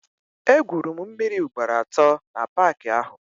E gwuru m mmịrị ugboro atọ na paaki ahụ.